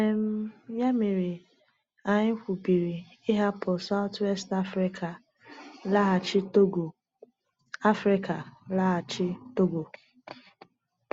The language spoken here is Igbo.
um Ya mere, anyị kwubiri ịhapụ South-West Africa laghachi Togo. Africa laghachi Togo.